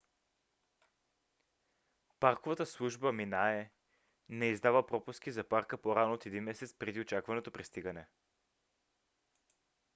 парковата служба minae не издава пропуски за парка по-рано от един месец преди очакваното пристигане